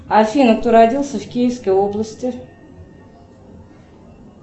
афина кто родился в киевской области